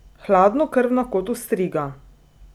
Hladnokrvna kot ostriga!